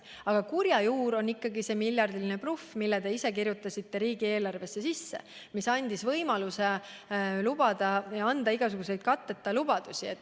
Aga kurja juur on ikkagi see miljardiline bluff, mille te ise kirjutasite riigieelarvesse ja mis andis võimaluse jagada igasuguseid katteta lubadusi.